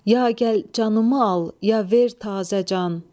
Ya gəl canımı al, ya ver təzə can.